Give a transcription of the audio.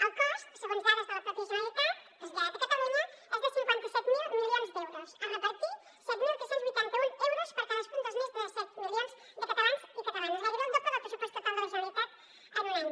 el cost segons dades de la pròpia generalitat traslladat a catalunya és de cinquanta set mil milions d’euros a repartir set mil tres cents i vuitanta un euros per a cadascun dels més de set milions de catalans i catalanes gairebé el doble del pressupost total de la generalitat en un any